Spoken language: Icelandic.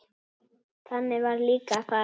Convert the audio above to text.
Þannig varð líka að fara.